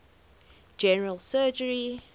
general surgery